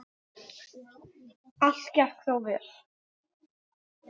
Allt gekk þó vel.